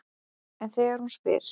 En þegar hún spyr